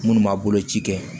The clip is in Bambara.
Minnu ma boloci kɛ